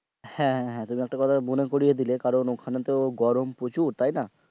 হ্যাঁ হ্যাঁ তা একটা কথা মনে পড়িয়ে দিলে কারণ ওখানে তো গরম প্রচুর তাই না.